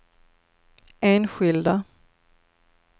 enskilda